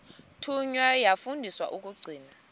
thunywa yafundiswa ukugcina